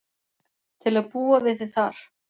Til að búa við þig þar.